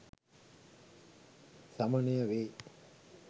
සමනය වේ.